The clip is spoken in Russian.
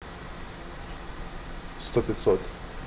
сто пятьсот